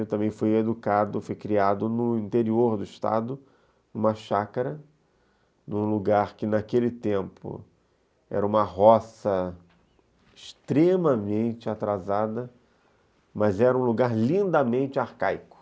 Eu também fui educado, fui criado no interior do estado, numa chácara, num lugar que naquele tempo era uma roça extremamente atrasada, mas era um lugar lindamente arcaico.